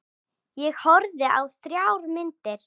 Ég horfði á þrjár myndir.